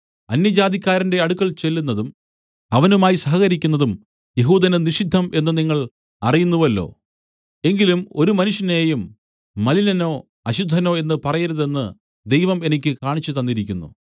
അന്യജാതിക്കാരന്റെ അടുക്കൽ ചെല്ലുന്നതും അവനുമായി സഹകരിക്കുന്നതും യെഹൂദനു നിഷിദ്ധം എന്നു നിങ്ങൾ അറിയുന്നുവല്ലോ എങ്കിലും ഒരു മനുഷ്യനെയും മലിനനോ അശുദ്ധനോ എന്നു പറയരുതെന്ന് ദൈവം എനിക്ക് കാണിച്ചുതന്നിരിക്കുന്നു